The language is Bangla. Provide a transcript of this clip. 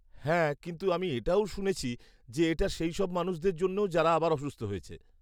হ্যাঁ, কিন্তু আমি এটাও শুনেছি যে এটা সেই সব মানুষদের জন্যেও যারা আবার অসুস্থ হয়েছে।